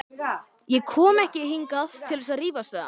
Ég kom ekki hingað til að rífast við hann.